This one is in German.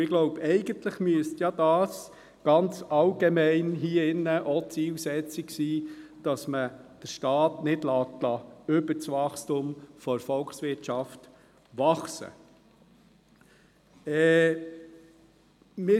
Ich glaube, eigentlich müsste dies ganz allgemein hier drin die Zielsetzung sein, dass man den Staat nicht über das Wachstum der Volkswirtschaft wachsen lässt.